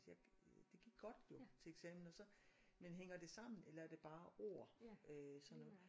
Jeg øh det godt jo til eksamen og så men hænger det sammen eller er det bare ord øh så noget